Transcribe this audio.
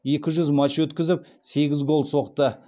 екі жүз матч өткізіп сегіз гол соқты